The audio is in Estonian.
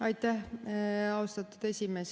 Aitäh, austatud esimees!